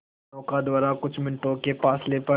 नौका द्वारा कुछ मिनटों के फासले पर